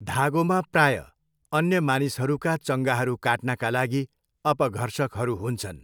धागोमा प्रायः अन्य मानिसहरूका चङ्गाहरू काट्नका लागि अपघर्षकहरू हुन्छन्।